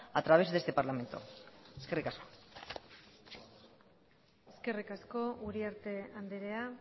a través de este parlamento eskerrik asko eskerrik asko uriarte andrea